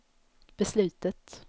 beslutet